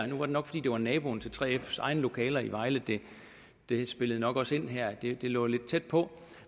nu var det nok fordi det var naboen til 3fs egne lokaler i vejle det spillede nok også ind her at det lå lidt tæt på